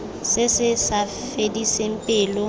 se se sa fediseng pelo